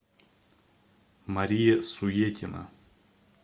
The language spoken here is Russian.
мария суетина